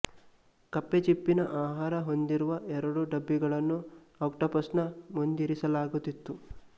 ಕಪ್ಪೆಚಿಪ್ಪಿನ ಆಹಾರ ಹೊಂದಿರುವ ಎರಡು ಡಬ್ಬಿಗಳನ್ನು ಆಕ್ಟೋಪಸ್ ನ ಮುಂದಿರಿಸಲಾಗುತ್ತಿತ್ತು